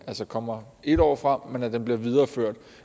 kommer et år frem men at den bliver videreført